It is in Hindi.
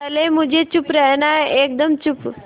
पहले मुझे चुप रहना है एकदम चुप